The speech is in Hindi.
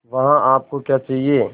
वहाँ आप को क्या चाहिए